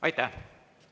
Aitäh!